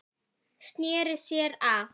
Sneri sér að